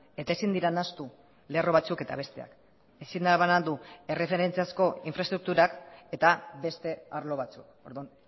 eta ezin dira nahastu lerro batzuk eta besteak ezin da banandu erreferentziazko infraestrukturak eta beste arlo batzuk orduan